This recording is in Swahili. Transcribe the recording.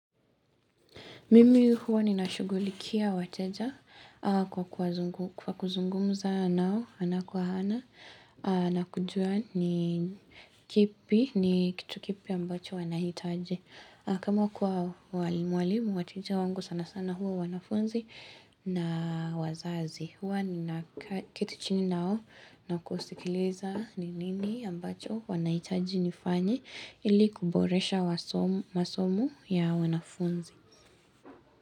Mimi huwa ninashugulikia wateja kwa kuzungumza nao ana kwa hana na kujua ni kipi, ni kitu kipi ambacho wanahitaji. Kama kwa walimu, wateja wangu sana sana huwa wanafunzi na wazazi. Huwa ninaketi chini nao na kusikiliza ni nini ambacho wanahitaji nifanye ili kuboresha masomo ya wanafunzi.